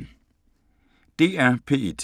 DR P1